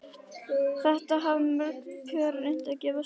Þetta hafa mörg pör reynt og gefist mjög vel.